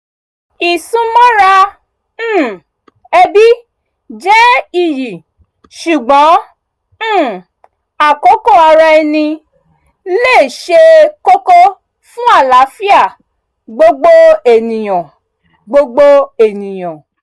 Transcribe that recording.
ìsúnmọ́ra um ẹbí jẹ́ iyì ṣùgbọ́n um àkókò ara ẹni ṣe kókó fún àlààfíà gbogbo ènìyàn gbogbo ènìyàn